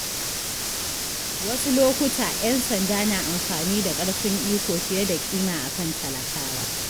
Wasu lokuta, ‘yan sanda na amfani da ƙarfin iko fiye da kima akan talakawa.